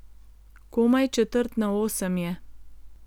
Komaj četrt na osem je.